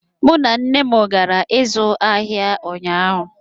Mụ na nna m gara ịzụ ahịa ụnyaahụ